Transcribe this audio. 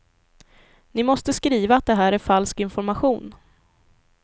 Ni måste skriva att det här är falsk information.